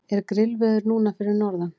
er grillveður núna fyrir norðan